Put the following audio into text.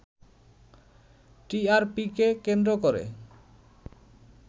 টিআরপিকে কেন্দ্র করে